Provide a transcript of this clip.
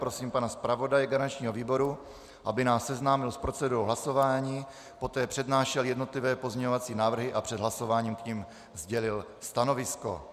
Prosím pana zpravodaje garančního výboru, aby nás seznámil s procedurou hlasování, poté přednášel jednotlivé pozměňovací návrhy a před hlasováním k nim sdělil stanovisko.